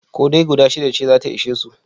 Ko dai guda shida ce za ta ishe su?